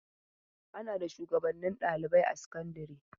Ana da shuwagabannin ɗalibai a sakandare.